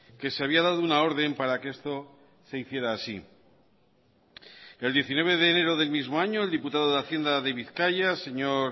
que se había dado una orden para que esto se hiciera así el diecinueve de enero del mismo año el diputado de hacienda de bizkaia señor